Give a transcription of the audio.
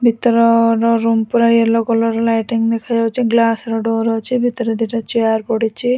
ଭିତରର ରୁମ୍ ପୁରା yellow colour lighting ଦେଖାଯାଉଚି ଗ୍ଲାସ୍ ର ଡୋର ଅଛି ଭିତରେ ଦି ଟା ଚିୟାର ପଡିଚି।